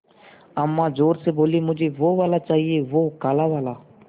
अम्मा ज़ोर से बोलीं मुझे वो वाला चाहिए वो काला वाला